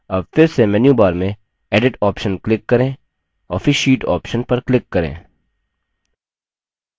अब फिर से मेन्यूबार में edit option click करें और फिर sheet option पर click करें